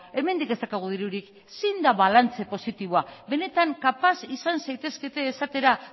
hemendik ez daukagu dirurik zein da balantze positiboa benetan kapaz izan zaitezkete esatera